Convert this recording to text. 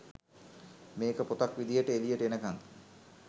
මේක පොතක් විදිහට එලියට එනකම්